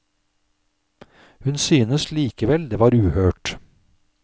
Hun syntes likevel det var uhørt.